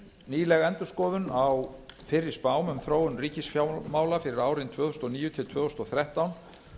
nýleg endurskoðun á fyrri spám um þróun ríkisfjármála fyrir árin tvö þúsund og níu til tvö þúsund og þrettán